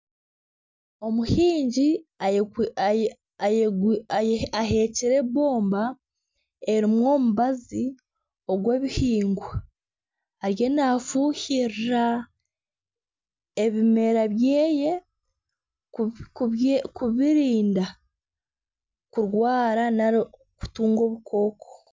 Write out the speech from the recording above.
Omuhingi aheekire embomba erimu omubazi ogw'ebihingwa ariyo naafuhirira ebimera bye kubirinda kurwara nari kutunga obukooko.